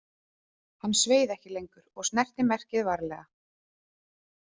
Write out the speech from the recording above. Hann sveið ekki lengur og snerti merkið varlega.